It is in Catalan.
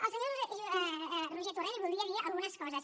al senyor roger torrent li voldria dir algunes coses